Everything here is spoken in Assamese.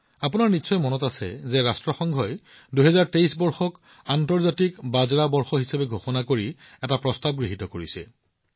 আপোনাৰ মনত থাকিব পাৰে যে ৰাষ্ট্ৰসংঘই ২০২৩ বৰ্ষক দুই হাজাৰ তেইছ আন্তৰ্জাতিক বাজৰা বৰ্ষ হিচাপে ঘোষণা কৰি এক প্ৰস্তাৱ গৃহীত কৰিছে